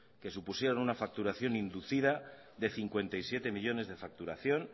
que supusieron una facturación inducida de cincuenta y siete millónes de facturación